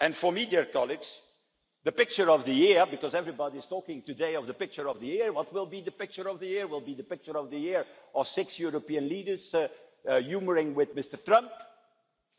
And to media colleagues, the picture of the year because everybody is talking today about what will be the picture of the year will it be six European leaders humouring Mr Trump